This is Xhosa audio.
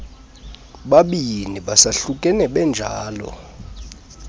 babini besahlukene benjalo